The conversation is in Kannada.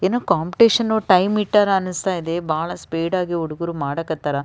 ಏನೋ ಕಾಂಪಿಟಿಷನ್ ಟೈಮ್ ಇಟ್ಟರ ಅನ್ನಿಸ್ತಾಯಿದೆ ಬಹಳ ಸ್ಪೀಡ್ ಆಗಿ ಹುಡುಗೂರು ಮಾಡಕ್ ಹತ್ತರ .